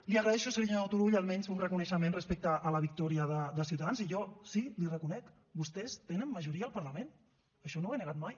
li agraeixo senyor turull almenys un reconeixement respecte a la victòria de ciutadans i jo sí l’hi reconec vostès tenen majoria al parlament això no ho he negat mai